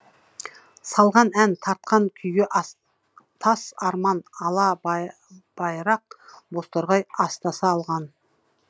салған ән тартқан күйге астас арман алабай байрақ бозторғай астаса алған